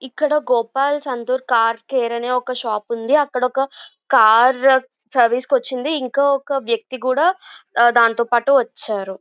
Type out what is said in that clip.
ఇక్కడ Gopal Santoor car care అని shop ఉంది. అక్కడ ఒక కారు సర్వీస్ కి కొచ్చింది. ఇంకా వ్యక్తి కూడా దాంతోపాటు వచ్చారు.